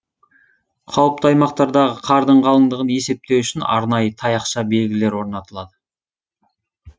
қауіпті аймақтардағы қардың қалыңдығын есептеу үшін арнайы таяқша белгілер орнатылады